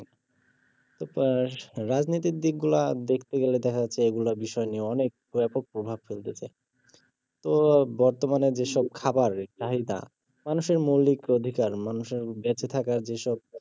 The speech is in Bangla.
তো রাজনৈতিক দিক গুলো দেখতে গেলে দেখা যাচ্ছে এগুলা বিষয় নিয়ে অনেক ব্যাপক প্রভাব ফেলতেছে তো বর্তমানে যে সব খাবার চাহিদা মানুষের মৌলিক অধিকার মানুষের বেছে থাকার যেসব